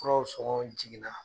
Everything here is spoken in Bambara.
Kuraw sɔngɔ jiginna